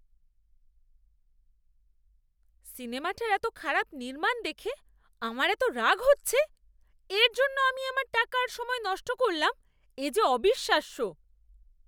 সিনেমাটার এত খারাপ নির্মাণ দেখে আমার এত রাগ হচ্ছে! এর জন্য আমি আমার টাকা আর সময় নষ্ট করলাম এ যে অবিশ্বাস্য!